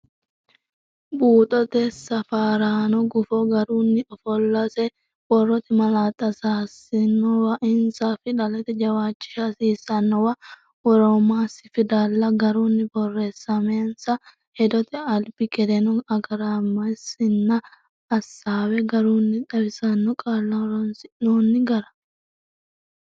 Buuxote Safaraano Gufo garunni ofollase Borrote malaatta hasiissannowa eansa Fidalete jawishshi hasiisannowa woramasi Fidalla garunni borreessamansa Hedote albi gedeno agaramasenna Assaawe garunni xawissanno qaalla horonsi’noonni gara.